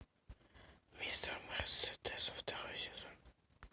мистер мерседес второй сезон